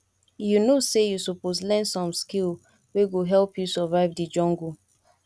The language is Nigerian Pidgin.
you know sey you suppose learn some skill wey go help you survive di jungle